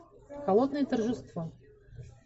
холодное торжество